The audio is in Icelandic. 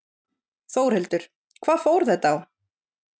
Þórhildur: Hvað fór þetta á?